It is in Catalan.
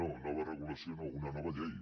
no nova regulació no una nova llei